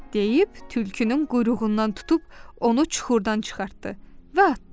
deyib tülkünün quyruğundan tutub onu çuxurdan çıxartdı və atdı.